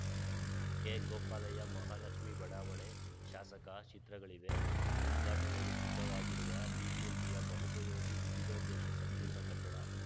ಕೆಗೋಪಾಲಯ್ಯ ಮಹಾಲಕ್ಷ್ಮೇ ಬಡಾವಣೆ ಶಾಸಕ ಚಿತ್ರಗಳಿವೆ ಉದ್ಘಾಟನೆಗೆ ಸಿದ್ಧವಾಗಿರುವ ಬಿಬಿಎಂಪಿಯ ಬಹುಪಯೋಗಿ ವಿವಿಧೋದ್ದೇಶ ಸಂಕೀರ್ಣ ಕಟ್ಟಡ